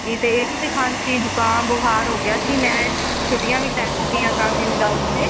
ਗਈ ਤੇ ਇਹਨੂੰ ਵੀ ਖਾਂਸੀ ਜੁਕਾਮ ਬੁਖਾਰ ਹੋ ਗਿਆ ਸੀ ਮੈਂ ਇਸ ਨੂੰ ਛੁੱਟੀਆਂ ਵੀ ਲੈ ਚੁੱਕੀਆ ਕਾਫੀ ਦਿਨ ਵਾਸਤੇ